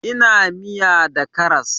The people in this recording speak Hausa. Ina iya miya da karas